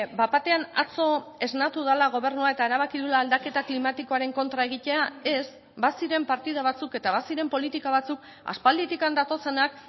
bat batean atzo esnatu dela gobernua eta erabaki duela aldaketa klimatikoaren kontra egitea ez baziren partida batzuk eta baziren politika batzuk aspalditik datozenak